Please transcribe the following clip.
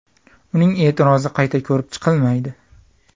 Uning e’tirozi qayta ko‘rib chiqilmaydi.